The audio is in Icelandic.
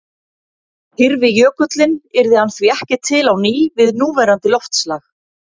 Hyrfi jökullinn yrði hann því ekki til á ný við núverandi loftslag.